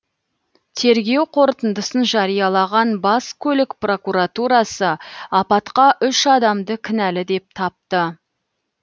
тергеу қорытындысын жариялаған бас көлік прокуратурасы апатқа үш адамды кінәлі деп тапты